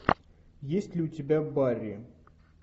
есть ли у тебя барри